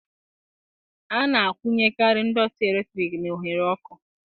A na-akwunyekarị ndọtị eletrik na oghere ọkụ